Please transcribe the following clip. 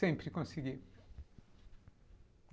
Sempre consegui.